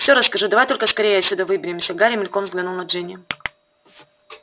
всё расскажу давай только скорее отсюда выберемся гарри мельком взглянул на джинни